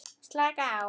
Slaka á?